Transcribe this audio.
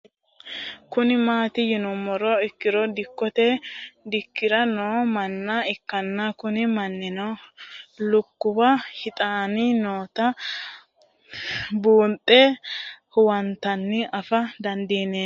Kuni mati yinumoha ikiro dikote dikiray noo manna ikana Kuni mannino lukuwa hixani noota bunxe huwantana afa dandineemo dargat yaate